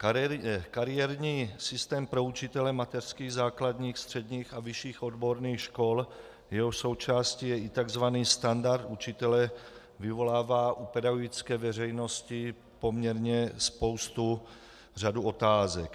Kariérní systém pro učitele mateřských, základních, středních a vyšších odborných škol, jehož součástí je i tzv. standard učitele, vyvolává u pedagogické veřejnosti poměrně spoustu, řadu otázek.